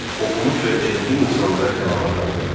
Oxumuş və elmli insanlara tələbat artırdı.